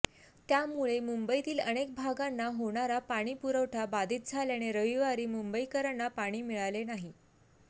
त्यामुळे मुंबईतील अनेक भागांना होणारा पाणी पुरवठा बाधित झाल्याने रविवारी मुंबईकरांना पाणी मिळाले नाही